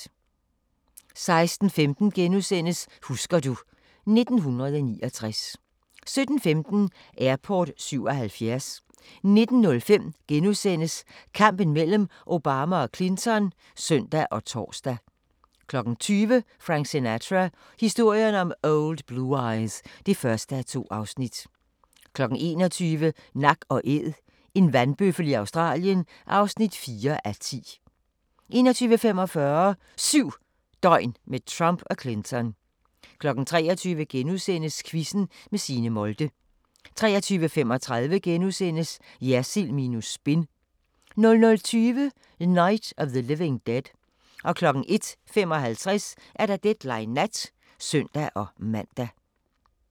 16:15: Husker du ... 1989 * 17:15: Airport 77 19:05: Kampen mellem Obama og Clinton *(søn og tor) 20:00: Frank Sinatra – historien om Old Blue Eyes (1:2) 21:00: Nak & Æd – en vandbøffel i Australien (4:10) 21:45: 7 døgn med Trump og Clinton 23:00: Quizzen med Signe Molde * 23:35: Jersild minus spin * 00:20: Night of the Living Dead 01:55: Deadline Nat (søn-man)